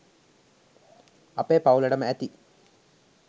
අපේ පවුලටම ඇති